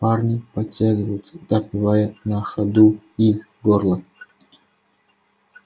парни подтягиваются допивая на ходу из горла